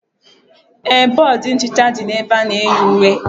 Ee, bọọdụ nchicha dị na ebe ana-eyi uwe